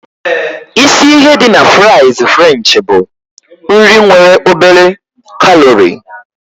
Isi ihe dị na fries french bụ: nri nwere obere kalori.